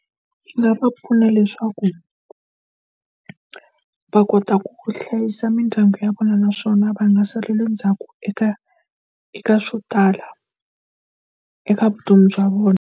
Ndzi nga va pfuna leswaku va kota ku hlayisa mindyangu ya vona naswona va nga salela ndzhaku eka eka swo tala, eka vutomi bya vona.